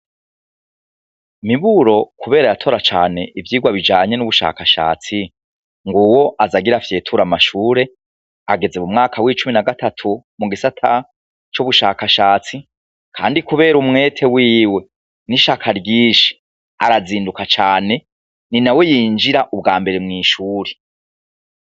Miburo kubera yatora cane ivyirwa bijanye n'ubushakashatsi, nguwo az 'agira afyeture amashure, ageze mu mwaka w'icumi na gatatu mugisata c'ubishakashatsi, kandi kubera umwete wiwe n'ishaka ryinshi, arazinduka cane, ninawe yinjira ubwambere mw'ishuri.